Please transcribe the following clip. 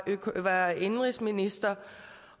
indenrigsminister